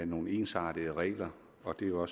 nogle ensartede regler og det er jo